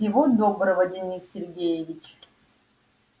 всего доброго денис сергеевич